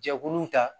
Jɛkuluw ta